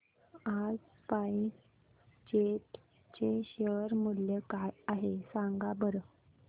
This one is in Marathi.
आज स्पाइस जेट चे शेअर मूल्य काय आहे सांगा बरं